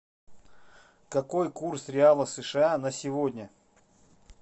какой курс реала сша на сегодня